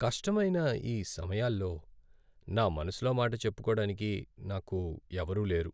కష్టమైన ఈ సమయాల్లో నా మనసులో మాట చెప్పుకోడానికి నాకు ఎవరూ లేరు.